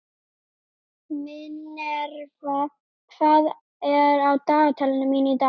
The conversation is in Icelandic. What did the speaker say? Minerva, hvað er á dagatalinu mínu í dag?